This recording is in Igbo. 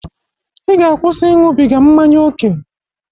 I ga-akwusi iñụbiga mmanya oke!